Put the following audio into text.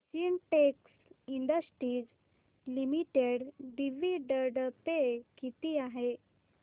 Sintex industries limited dividend pay किती आहे